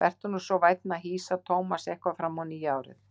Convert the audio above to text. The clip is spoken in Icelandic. Vertu nú svo vænn að hýsa Thomas eitthvað fram á nýja árið.